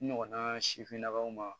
N ɲɔgɔnna sifinnakaw ma